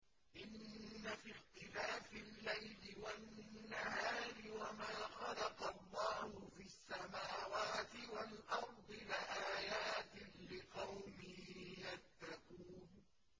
إِنَّ فِي اخْتِلَافِ اللَّيْلِ وَالنَّهَارِ وَمَا خَلَقَ اللَّهُ فِي السَّمَاوَاتِ وَالْأَرْضِ لَآيَاتٍ لِّقَوْمٍ يَتَّقُونَ